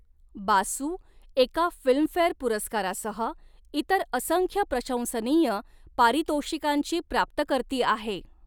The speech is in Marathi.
बासू एका फिल्मफेअर पुरस्कारासह इतर असंख्य प्रशंसनीय पारितोषिकांची प्राप्तकर्ती आहे.